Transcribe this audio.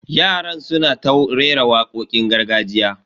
Yaran suna ta rera wakokin gargajiya.